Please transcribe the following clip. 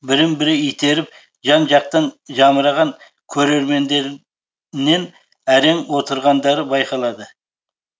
бірін бірі итеріп жан жақтан жамыраған көрермендер нен әрең отырғандары байқалды